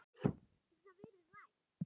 Hefur það verið rætt?